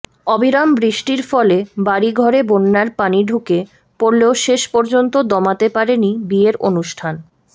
অবিরাম বৃষ্টির ফলে বাড়িঘরে বন্যার পানি ঢুকে পড়লেও শেষ পর্যন্ত দমাতে পারেনি বিয়ের অনুষ্ঠান